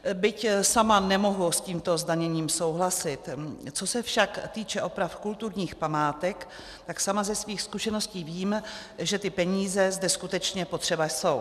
Byť sama nemohu s tímto zdaněním souhlasit, co se však týká opravy kulturních památek, tak sama ze svých zkušeností vím, že ty peníze zde skutečně potřeba jsou.